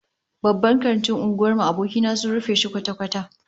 Babban kantin unguwar abokina sun rufe shi kwata-kwata